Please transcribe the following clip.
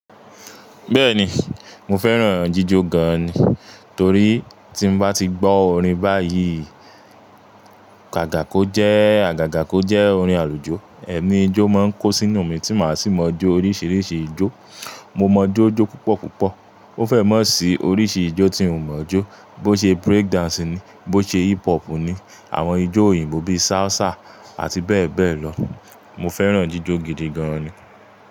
Bẹ́ẹ̀ni, mo fẹ́ràn jíjo gan ni torí tí ń bá ti gbọ́ orin báyìí, kàkàko jẹ́ àgàgàkọ́ jẹ́ orin àlùjó, ẹ̀mí ijó máa ń kó sínú mi tí màá sì mọ̀ ọ́ jó oríṣiríṣi ijó. Mo mọ̀ jo jó púpọ̀ púpọ̀. Ó fẹ́ mọ̀ sí oríṣi ijó tí mò mọ̀ ọ́ jó. Bó ṣe break dancing ni, bó ṣe hip hop ni, àwọn ijó òyìnbó bíi salsa àti bẹ́ẹ̀ bẹ́ẹ̀ lọ. Mo fẹ́ràn jíjọ gidi gan ni.